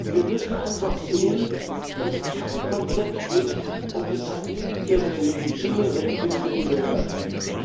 Wir müssen einfach sehen, dass es kein Konzept gibt, um den Tamilen ihre legitimen Rechte zu gewährleisten.